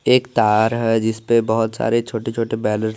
एक तार है जिसपे बहोत सारे छोटे छोटे बैलू--